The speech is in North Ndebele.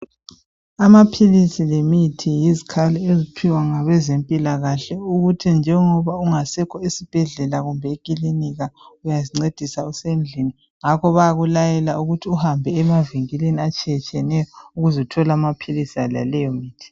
Amaphilisi lemithi yizikhali eziphiwa ngabezempilakahle ukuthi njengoba ungasekho esibhedlela kumbe ekilinika uyazincedisa usendlini ngakho bayakulayela ukuthi uhambe emavinkilini atshiyatshiyeneyo ukuze uthole amaphilisi laleyomithi